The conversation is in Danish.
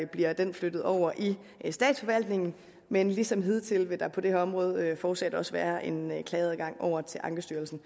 bliver den flyttet over i statsforvaltningen men ligesom hidtil vil der på det her område fortsat også være en klageadgang over til ankestyrelsen